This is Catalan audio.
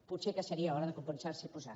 potser seria hora de començar s’hi a posar